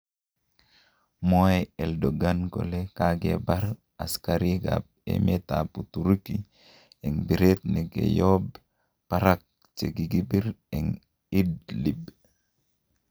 Mwoe Eldogan kole kagebar asigarik ab emetab Uturuki en biret negoyob barak chegigibir en Idlib.